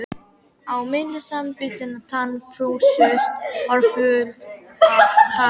Á milli samanbitinna tanna frussuðust orð full af hatri.